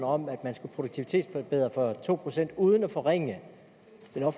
om at man skulle produktivitetsforbedre for to procent uden at forringe